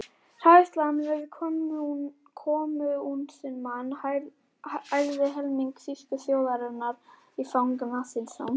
Hræðslan við kommúnismann ærði helming þýsku þjóðarinnar í fang nasismans.